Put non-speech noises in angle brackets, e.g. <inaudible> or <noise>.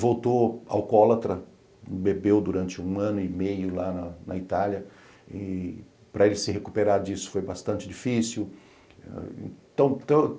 Voltou alcoólatra, bebeu durante um ano e meio lá na Itália, e para ele se recuperar disso foi bastante difícil. <unintelligible>